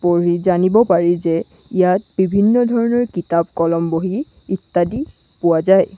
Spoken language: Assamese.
পঢ়ি জানিব পাৰি যে ইয়াত বিভিন্ন ধৰণৰ কিতাপ কলম বহি ইত্যাদি পোৱা যায়।